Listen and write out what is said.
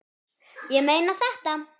Ég meina þetta.